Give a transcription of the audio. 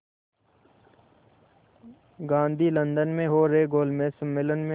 Gandhi London में हो रहे गोलमेज़ सम्मेलन में